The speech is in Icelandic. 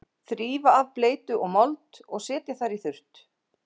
Þrífa af bleytu og mold og setja þær í þurrt.